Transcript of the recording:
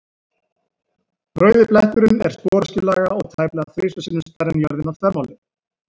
Rauði bletturinn er sporöskjulaga og tæplega þrisvar sinnum stærri en jörðin að þvermáli.